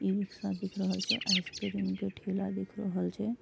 E rickshaw दिख रहल छे आइसक्रीम के ठेला दिख रहल छे।